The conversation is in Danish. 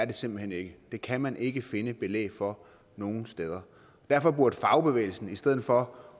det simpelt hen ikke det kan man ikke finde belæg for nogen steder derfor burde fagbevægelsen i stedet for